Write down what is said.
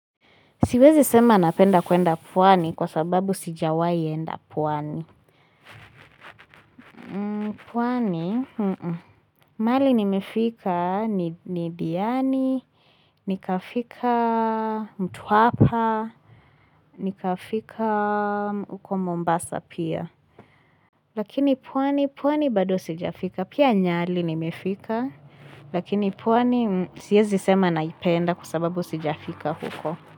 Siwezi sema napenda kwenda pwani kwa sababu sijawahi enda pwani. Pwani? Mahali nimefika ni diani, nikafika mtwapa, nikafika huko mombasa pia. Lakini pwani pwani bado sijafika. Pia nyali nimefika. Lakini pwani siwezi sema naipenda kwa sababu sijafika huko.